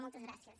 moltes gràcies